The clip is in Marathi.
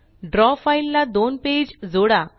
द्रव फ़ाइल ला दोन पेज जोडा